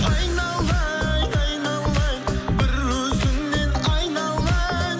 айналайын айналайын бір өзіңнен айналайын